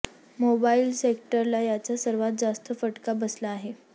mobile सेक्टरला याचा सर्वात जास्त फटका बसला आहे